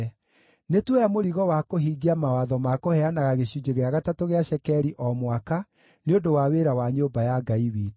“Nĩtuoya mũrigo wa kũhingia mawatho ma kũheanaga gĩcunjĩ gĩa gatatũ gĩa cekeri o mwaka nĩ ũndũ wa wĩra wa nyũmba ya Ngai witũ: